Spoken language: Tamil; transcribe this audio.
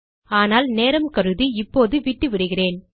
ஆனால் நேரம் கருதி இப்போது விட்டுவிடுகிறேன்